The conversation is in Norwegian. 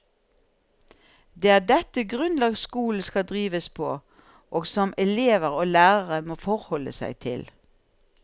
Det er dette grunnlag skolen skal drives på, og som elever og lærere må forholde seg til.